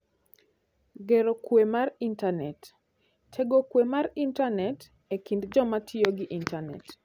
Gero Kuwe mar Intanet: Tego kuwe mar Intanet e kind joma tiyo gi Intanet.